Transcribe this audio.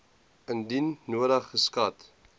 indien nodig geskat